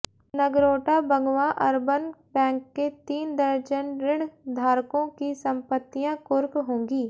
Nagrota Bagwan urban bank के तीन दर्जन ऋणधारकों की संपत्तियां कुर्क होंगी